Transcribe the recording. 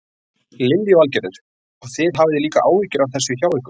Lillý Valgerður: Og þið hafið líka áhyggjur af þessu hjá ykkur?